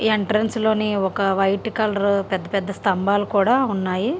ఈ ఎంట్రెన్స్ లోని ఒక వైట్ కలర్ పెద్ద పెద్ద స్థంబాలు కూడా ఉన్నాయి.